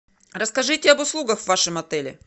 расскажите об услугах в вашем отеле